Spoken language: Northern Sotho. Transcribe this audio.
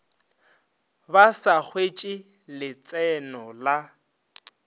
ba sa hwetše letseno la